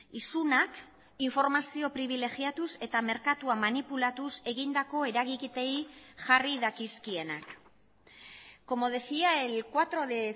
isunak informazio pribilegiatuz eta merkatua manipulatuz egindako eragiketei jarri dakizkienak como decía el cuatro de